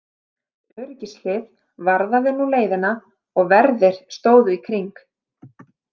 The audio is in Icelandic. Öryggishlið varðaði nú leiðina og verðir stóðu í kring.